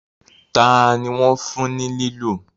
tani wón fún ní lilu?